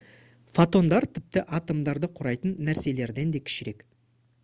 фотондар тіпті атомдарды құрайтын нәрселерден да кішірек